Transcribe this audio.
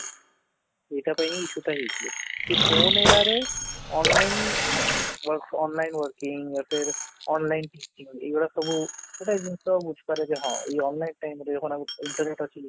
ଏଇଟା ପାଇଁ ହିଁ issue ଟା ହେଉଛି ଏଇ phone ଏରା ରେ online work online working online ଏଇ ଗୁଡ଼ା ସବୁ ଗୋଟାଏ ଜିନିଷ ବୁଝିପାରେ ଯେ ହଁ ଏଇ online time ରେ internet ଅଛି